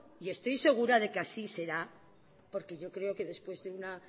y estoy segura de que así será porque yo creo que después de una